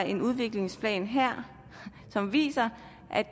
en udviklingsplan her som viser